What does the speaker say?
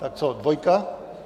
Tak co, dvojka?